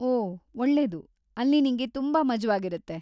ಓಹ್ ಒಳ್ಳೆದು;‌ ಅಲ್ಲಿ ನಿಂಗೆ ತುಂಬಾ ಮಜವಾಗಿರತ್ತೆ.